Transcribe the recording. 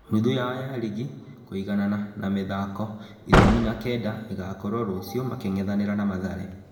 Nuthu yao ya ligi, kũiganana na mĩ thako ikũmi na kenda ĩ gakorwo rũciũ making'ethanĩ ra na Mathare.